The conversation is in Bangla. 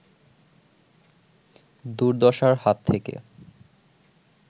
দুর্দশার হাত থেকে